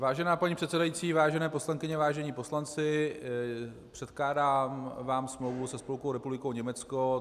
Vážená paní předsedající, vážené poslankyně, vážení poslanci, předkládám vám smlouvu se Spolkovou republikou Německo.